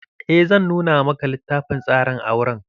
Eh zan nuna maka littafin tsarin auren.